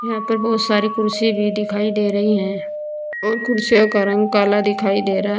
यहां पर बोहोत सारी कुर्सि भी दिखाई दे रही हैं और कुर्सियों का रंग काला दिखाई दे रहा --